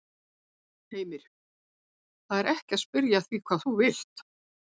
Heimir: Það er ekki að spyrja að því hvað þú vilt?